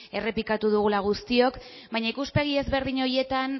errepikatu dugula guztiok baina ikuspegi ezberdin horietan